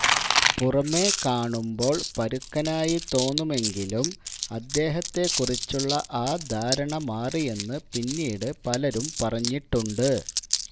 പുറമേ കാണുമ്പോള് പരുക്കനായി തോന്നുമെങ്കിലും അദ്ദേഹത്തെക്കുറിച്ചുള്ള ആ ധാരണ മാറിയെന്ന് പിന്നീട് പലരും പറഞ്ഞിട്ടുണ്ട്